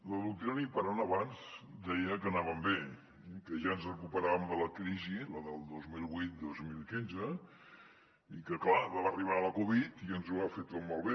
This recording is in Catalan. la doctrina imperant abans deia que anàvem bé que ja ens recuperarem de la crisi la del dos mil vuit dos mil quinze i que clar va arribar la covid i ens ho va fer tot malbé